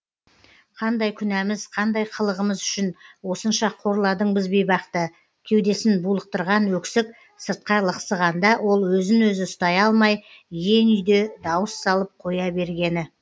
қандай күнәміз қандай қылығымыз үшін осынша қорладың біз бейбақты кеудесін булықтырған өксік сыртқа лықсығанда ол өзін өзі ұстай алмай иен үйде дауыс салып қоя бергені